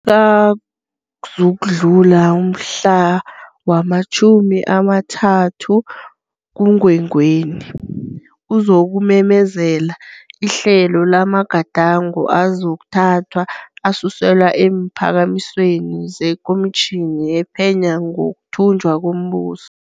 Akazukudlula umhla wama-30 kuMgwengweni, uzokumemezela ihlelo lamagadango azokuthathwa asuselwa eemphakamisweni zeKomitjhini ePhenya ngokuThunjwa komBuso.